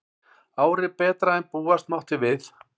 Árið betra en búast mátti við